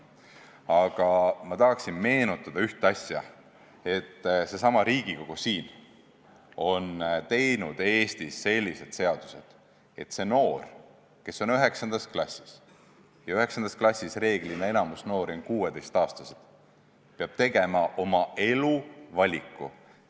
Aga ma tahan meenutada ühte asja: seesama Riigikogu on teinud Eestis sellised seadused, et see noor, kes on 9. klassis – ja 9. klassis enamik noori on 16-aastased –, peab tegema oma elu valiku.